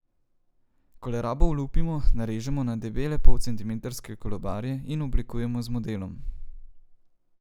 Kolerabo olupimo, narežemo na debele polcentimetrske kolobarje in oblikujemo z modelom.